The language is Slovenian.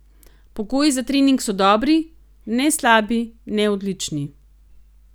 Pogoji za trening so dobri, ne slabi ne odlični.